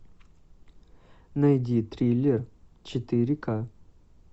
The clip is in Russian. найди триллер четыре ка